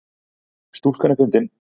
Stúlkan er fundin